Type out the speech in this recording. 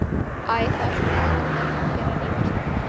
Það var komið fram í nóvember en ennþá snjólaust.